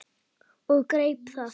Og ég greip það.